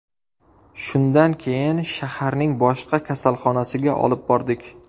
Shundan keyin shaharning boshqa kasalxonasiga olib bordik.